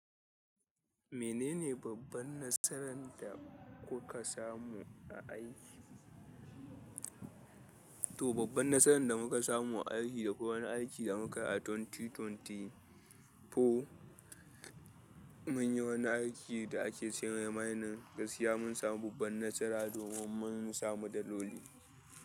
Menene babban nasaran da kuka samu a aiki? To, babban nasaran da muka samu a aiki da kwai wani aiki da muka yi a dubu biyu da ashirin da huɗu, mun yi wani aiki da ake ce mai mining gaskiya mun samu babban nasara domin mun samu daloli.